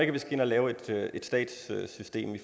at vi skal ind og lave et statssystem i